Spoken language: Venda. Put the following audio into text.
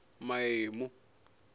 maemu